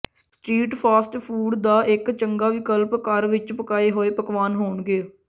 street fast food ਦਾ ਇੱਕ ਚੰਗਾ ਵਿਕਲਪ ਘਰ ਵਿੱਚ ਪਕਾਏ ਹੋਏ ਪਕਵਾਨ ਹੋਣਗੇ